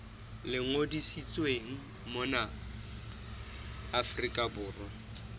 le ngodisitsweng mona afrika borwa